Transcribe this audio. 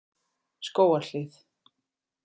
Skógarhlíð